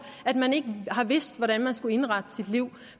at man ikke har vidst hvordan man skulle indrette sit liv